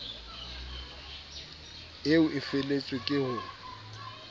eo e feletswe ke ho